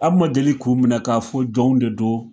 An ma deli k'u minɛ k'a fɔ jɔnw de don